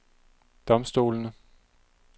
domstolene